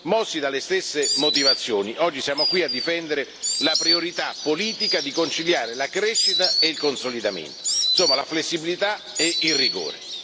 Mossi dalle stesse motivazioni, oggi siamo qui a difendere la priorità politica di conciliare la crescita e il consolidamento, insomma, la flessibilità e il rigore.